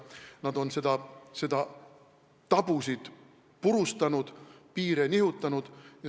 Nad on tabusid purustanud, piire nihutanud.